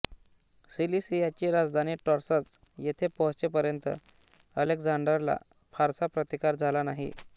सिलिसियाची राजधानी टॉर्सस येथे पोहोचेपर्यंत अलेक्झांडरला फारसा प्रतिकार झाला नाही